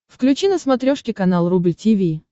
включи на смотрешке канал рубль ти ви